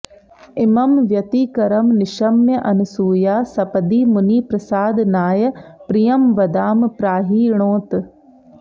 इमं व्यतिकरं निशम्य अनसूया सपदि मुनिप्रसादनाय प्रियम्वदां प्राहिणोत्